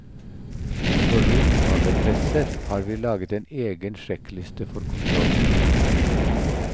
For rundballepresser har vi laget en egen sjekkliste for kontroll.